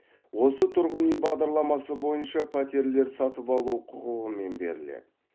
осы тұрғын үй бағдарламасы бойынша пәтерлер сатып алу құқығымен беріледі